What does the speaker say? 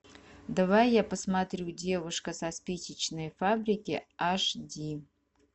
давай я посмотрю девушка со спичечной фабрики аш ди